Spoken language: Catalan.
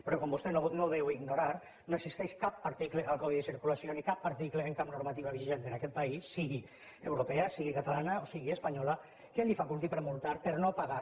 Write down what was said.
però com vostè no deu ignorar no existeix cap article al codi de circulació ni cap article en cap normativa vigent en aquest país sigui europea sigui catalana o sigui espanyola que el faculti per multar per no haver pagat